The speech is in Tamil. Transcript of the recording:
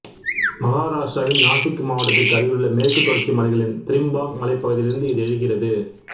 மகாராஷ்டிராவின் நாசிக் மாவட்டத்திற்கு அருகிலுள்ள மேற்குத் தொடர்ச்சி மலைகளின் திரிம்பாக் மலைப்பகுதியிலிருந்து இது எழுகிறது